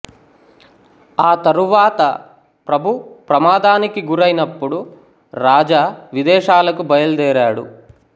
ఆ తరువాత ప్రభు ప్రమాదానికి గురైనప్పుడు రాజా విదేశాలకు బయలుదేరాడు